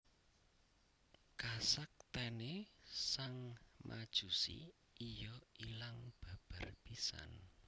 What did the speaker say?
Kasaktèné sang Majusi iya ilang babar pisan